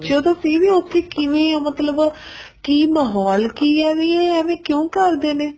ਤਾਂ ਸੀ ਵੀ ਉੱਥੇ ਕਿਵੇ ਆ ਮਤਲਬ ਕੀ ਮਾਹੋਲ ਕੀ ਹੈ ਇਹ ਐਵੇ ਕਿਉਂ ਕਰਦੇ ਨੇ